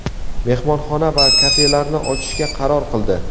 mehmonxona va kafelarni ochishga qaror qildi.